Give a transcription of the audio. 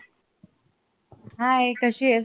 hi कशी आहेस?